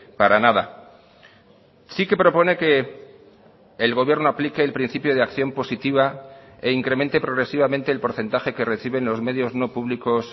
para nada sí que propone que el gobierno aplique el principio de acción positiva e incremente progresivamente el porcentaje que reciben los medios no públicos